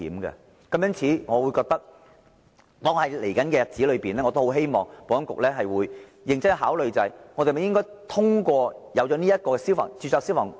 因此，在未來日子裏，我希望保安局會認真考慮應否進一步擴展註冊消防工程師的應用範圍。